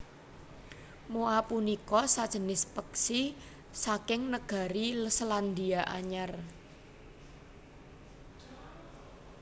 Moa punika sajinis peksi saking negari Selandia Anyar